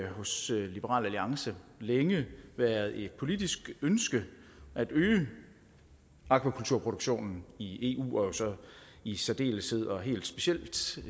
hos liberal alliance længe været et politisk ønske at øge aquakulturproduktionen i eu og i særdeleshed